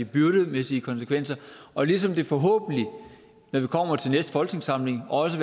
byrdemæssige konsekvenser og ligesom der forhåbentlig når vi kommer til næste folketingssamling også